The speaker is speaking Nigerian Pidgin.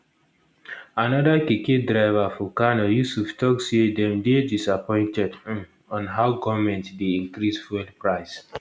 anoda keke driver for kano yusuf tok say dem dey disappointed um on how goment dey increase fuel price